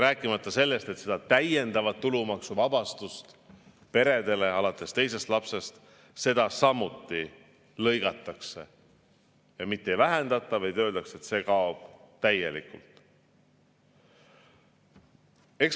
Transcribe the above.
Rääkimata sellest, et täiendavat tulumaksuvabastust peredele alates teisest lapsest samuti lõigatakse – mitte ei vähendata, vaid öeldakse, et see kaob täielikult.